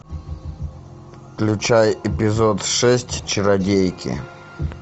включай эпизод шесть чародейки